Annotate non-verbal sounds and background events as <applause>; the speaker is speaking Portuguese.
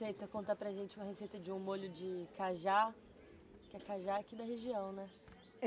<unintelligible> Conta para a gente uma receita de um molho de cajá, que é cajá aqui da região, né?